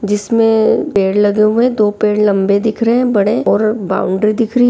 जिसमे पेड़ लगे हुए है। दो पेड़ लंबे दिख रहे है बड़े और बाउन्ड्री दिख रही है।